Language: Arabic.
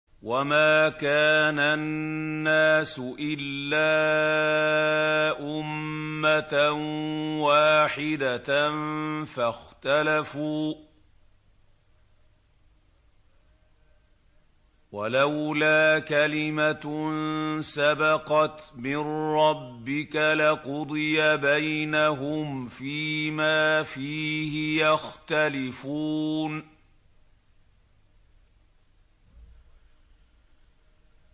وَمَا كَانَ النَّاسُ إِلَّا أُمَّةً وَاحِدَةً فَاخْتَلَفُوا ۚ وَلَوْلَا كَلِمَةٌ سَبَقَتْ مِن رَّبِّكَ لَقُضِيَ بَيْنَهُمْ فِيمَا فِيهِ يَخْتَلِفُونَ